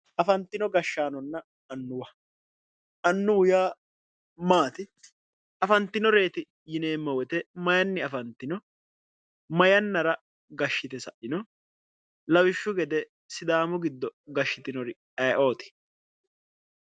afantino gashshaanonna annuwa annuwu yaa maati afantinoreeti yineemmowoyite mayini afantino ma yannara gashshitino lawishshu gede sifaami giddo gashshitiri ayiooti.